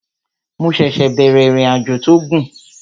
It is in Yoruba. Mo ṣẹ̀ṣẹ̀ bẹ̀rẹ̀ ìrìnàjò tó gùn